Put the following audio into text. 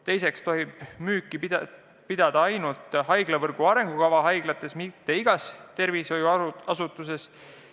Teiseks tohiks müüki teha ainult haiglavõrgu arengukava haiglates, mitte igas tervishoiuasutuses.